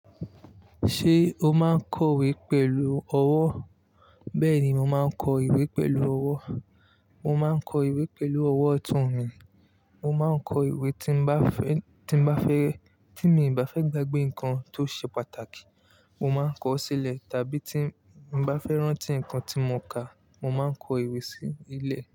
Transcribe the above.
Ṣé o máa ń kọ ìwé pẹ̀lú ọwọ́? Bẹ́ẹ̀ ni, mo máa ń kọ ìwé pẹ̀lú ọwọ́. Mo máa ń kọ ìwé pẹ̀lú ọwọ́ ọ̀tún mi. Mo máa ń kọ ìwé tí bá fẹ́, tí bá fẹ́, tí mi ì bá fẹ́ gbàgbé nǹkan tó ṣe pàtàkì, mo máa ń kọ ó sílẹ̀ tàbí tí mo bá fẹ́ rántí ǹkan tí mo kà, mo máa ń kọ ìwé sílẹ̀.